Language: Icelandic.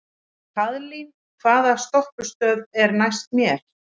Kaðlín, hvaða stoppistöð er næst mér?